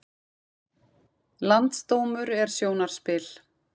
Landsdómur er sjónarspil